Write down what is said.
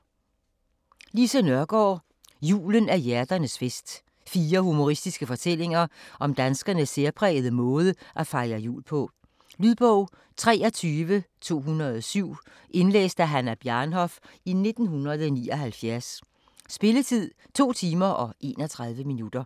Nørgaard, Lise: Julen er hjerternes fest Fire humoristiske fortællinger om danskernes særprægede måde at fejre jul på. Lydbog 23207 Indlæst af Hannah Bjarnhof, 1979. Spilletid: 2 timer, 31 minutter.